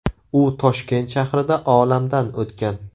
U Toshkent shahrida olamdan o‘tgan.